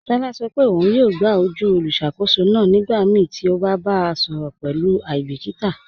Tọla sọ pe ọ̀un yọọ gbà ojú olùṣakòsó náà nígbàmíí ti o bá bá a sọrọ pẹ̀lú aibikíta.